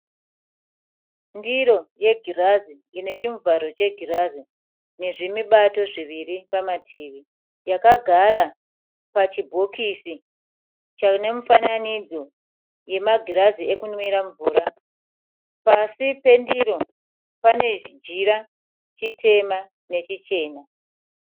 Ndiro yegirazi inechimuvharo chegirazi nezvimubato zviviri mumativi, yakagara pachibhokisi chinemufananidzo yemagirazi ekunwira mvura, pasi pendiro panechijira chitema nechichena.